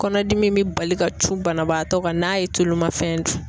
Kɔnɔdimi in bɛ bali ka cun banabaatɔ kan n'a ye tulumafɛn dun.